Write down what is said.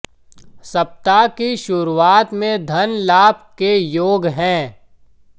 सप्ताह की शुरुआत में धन लाभ के योग हैं